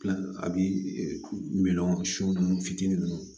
a bi miliyɔn sun ninnu fitinin nunnu